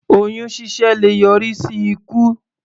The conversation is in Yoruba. Oyún ṣíṣẹ́ le yọrí sí ikú.